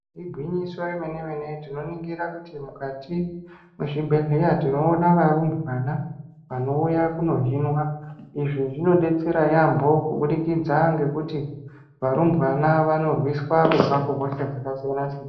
Igwinyiso yemenemene iyi tinoningira kuti mukati muzvibhedhleya tinoona varumbwana vanouya kunozvinwa izvi zvinobetsera yambo kubudikidza ngekuti varumbwana vanorwisa kubva kuhosha dzakasiyana siyana.